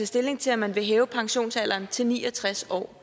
stilling til om man vil hæve pensionsalderen til ni og tres år